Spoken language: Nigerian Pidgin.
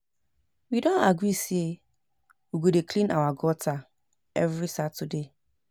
We don agree say we go dey clean our gutter every Saturday